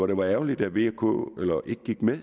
det var ærgerligt at vk ikke gik med